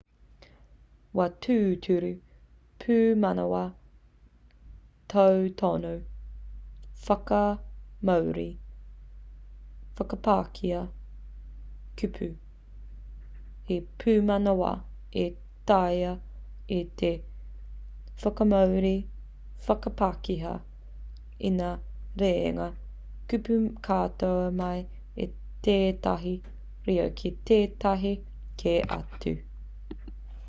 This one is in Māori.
wā tūturu pūmanawa tautono whakamāori/whakapākehā kupu - he pūmanawa e taea ai te whakamāori/whakapākehā i ngā rerenga kupu katoa mai i tētahi reo ki tētahi kē atu